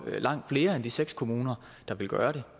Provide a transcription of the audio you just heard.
langt flere end de seks kommuner der vil gøre det